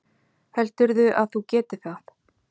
Heldurðu að þú getir það?